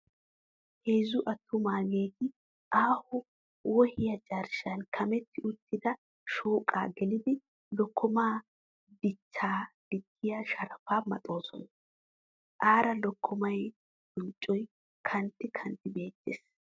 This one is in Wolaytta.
Heezzu attumaageeti aaho wohiya carshshan kametti uttida shooqaa gelidi lokkomaa dichchaa diggiya sharafaa maxoosona. Aara lokkomaa bonccoy kantti kantti beettes.